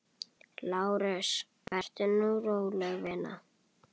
LÁRUS: Vertu nú róleg, vina.